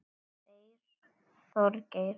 Þeir Þorgeir